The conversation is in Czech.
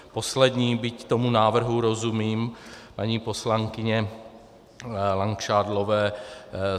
Poslední, byť tomu návrhu rozumím, paní poslankyně Langšádlové.